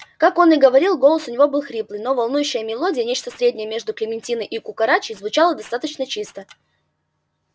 как он и говорил голос у него был хриплый но волнующая мелодия нечто среднее между клементиной и кукарачей звучала достаточно чисто